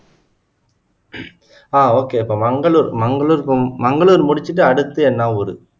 ஆஹ் okay okay Mangalore Mangalore Mangalore முடிச்சுட்டு அடுத்து என்னா ஊரு?